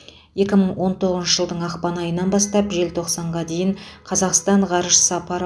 екі мың он тоғызыншы жылдың ақпан айынан бастап желтоқсанға дейін қазақстан ғарыш сапары